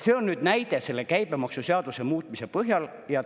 See on näide selle käibemaksuseaduse muutmise põhjal.